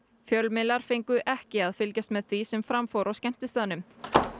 fjölmiðlar fengu ekki að fylgjast með því sem fram fór á skemmtistaðnum